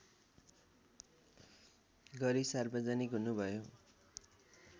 गरी सार्वजनिक हुनुभयो